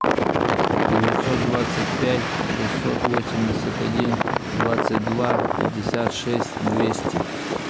девятьсот двадцать пять шестьсот восемьдесят один двадцать два пятьдесят шесть двести